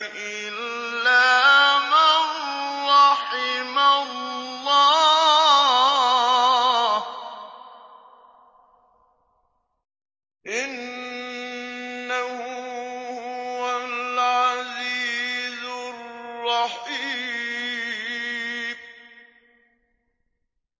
إِلَّا مَن رَّحِمَ اللَّهُ ۚ إِنَّهُ هُوَ الْعَزِيزُ الرَّحِيمُ